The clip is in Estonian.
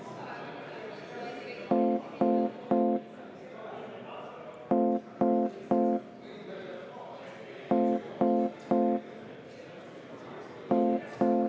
Pikendan vaheaega kümme minutit.